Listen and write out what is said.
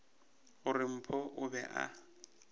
gore mpho o be a